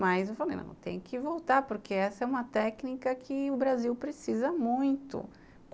Mas eu falei, não, tem que voltar, porque essa é uma técnica que o Brasil precisa muito.